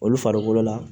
Olu farikolo la